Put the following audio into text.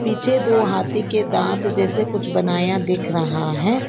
पीछे दो हाथी के दांत जैसे कुछ बनाया दिख रहा है।